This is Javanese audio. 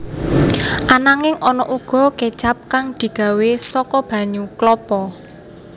Ananging ana uga kécap kang digawé saka banyu klapa